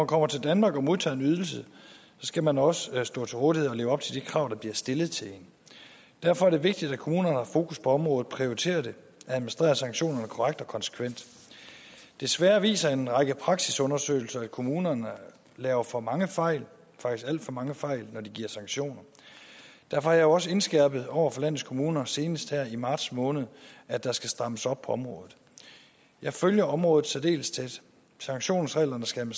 kommer til danmark og modtager en ydelse skal man også stå til rådighed og leve op til de krav der bliver stillet til en derfor er det vigtigt at kommunerne har fokus på området prioriterer det og administrerer sanktionerne korrekt og konsekvent desværre viser en række praksisundersøgelser at kommunerne laver for mange fejl faktisk alt for mange fejl når de giver sanktioner derfor har jeg også indskærpet over for landets kommuner senest her i marts måned at der skal strammes op på området jeg følger området særdeles tæt sanktionsreglerne skal